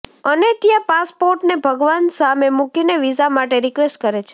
અને ત્યાં પાસપોર્ટને ભગવાન સામે મુકીને વિઝા માટે રીક્વેસ્ટ કરે છે